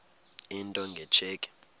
into nge tsheki